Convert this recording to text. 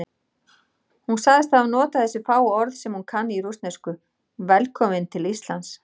Hún sagðist hafa notað þessi fáu orð sem hún kann í rússnesku: Velkominn til Íslands.